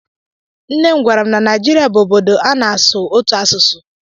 Nne m gwara m na Naịjirịa bụ obodo ana-asụ ọtụtụ asụsụ.